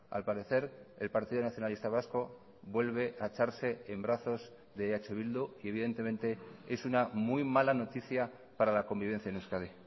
al parecer el partido nacionalista vasco vuelve a echarse en brazos de eh bildu y evidentemente es una muy mala noticia para la convivencia en euskadi